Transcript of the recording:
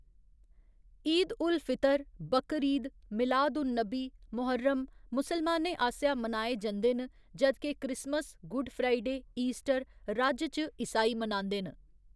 ईद उल फितर, बकरीद, मिलाद उन नबी, मोह्‌रम मुसलमानें आसेआ मनाए जंदे न जद् के क्रिसमस, गुड फ्राइडे, ईस्टर राज्य च ईसाई मनांदे न।